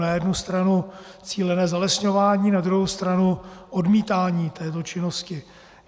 Na jednu stranu cílené zalesňování, na druhou stranu odmítání této činnosti.